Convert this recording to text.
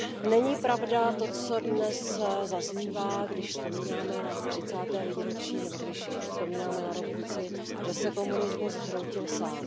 Není pravda to, co dnes zaznívá, když vzpomínáme na třicáté výročí nebo když vzpomínáme na revoluci, že se komunismus zhroutil sám.